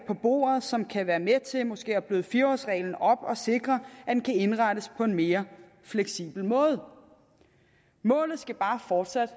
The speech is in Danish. bordet som kan være med til måske at bløde fire årsreglen op og sikre at den kan indrettes på en mere fleksibel måde målet skal bare fortsat